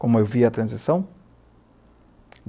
Como eu vi a transição?